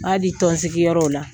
N b'a di tɔnsigiyɔrɔw la